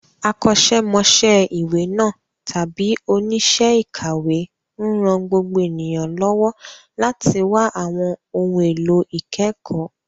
Akọ́ṣẹ́mọṣẹ́ ìwé náà, tàbí oníṣẹ́ ìkàwé, ń ran gbogbo ènìyàn lọ́wọ́ láti wá àwọn ohun èlò ìkẹ́kọ̀ọ́.